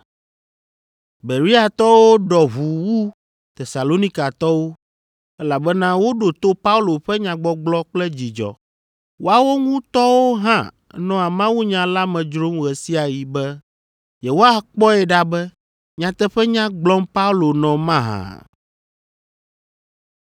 Bereatɔwo ɖɔ ʋu wu Tesalonikatɔwo, elabena woɖo to Paulo ƒe nyagbɔgblɔ kple dzidzɔ. Woawo ŋutɔwo hã nɔa mawunya la me dzrom ɣe sia ɣi be yewoakpɔe ɖa be nyateƒenya gblɔm Paulo nɔ mahã.